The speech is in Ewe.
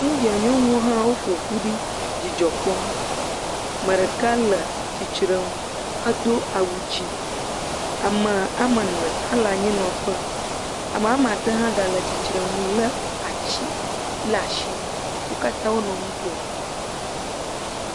India nyɔnuwo wò ƒoƒu ɖi, dzidzɔ kpɔm. Me ɖeka le tsitre he do awu dzɛ. Ame wòa, ame wòa me ene. Ame wòa ene le anyi nɔƒe. Ame wòa me ade hã gale atsitre ŋu le atsi, le asi. Wo katã wonɔ nu kom.